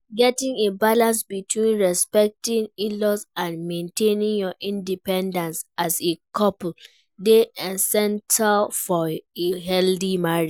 Getting a balance between respecting in-laws and maintaining your independence as a couple dey essential for a healthy marriage.